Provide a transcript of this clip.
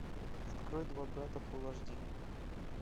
открой два брата фул аш ди